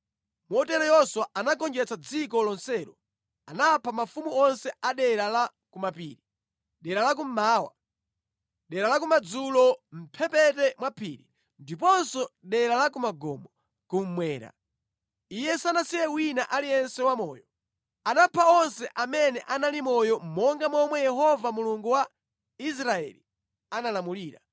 Motero Yoswa anagonjetsa dziko lonselo. Anapha mafumu onse a dera la kumapiri, dera la kummawa, dera la kumadzulo mʼmphepete mwa phiri, ndiponso dera la ku magomo, kummwera. Iye sanasiye wina aliyense wamoyo. Anapha onse amene anali moyo monga momwe Yehova Mulungu wa Israeli analamulira.